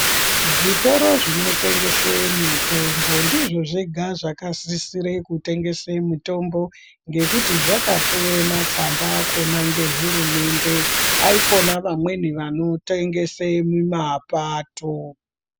Zvitoro zvinotengese mitombo ndizvo zvega zvakasisire kutengesa mitombo ngekuti zvakapiwe matsamba akhona ngehurumende ,haikona vamweni vano tengese mumapato.